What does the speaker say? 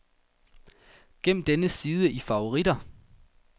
Gem denne side i favoritter.